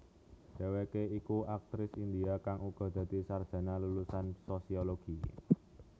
Dheweké iku aktris India kang uga dadi sarjana lulusan sosiologi